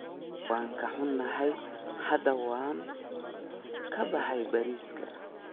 Waan ka xunahay, hadda waanu ka baxay bariiska.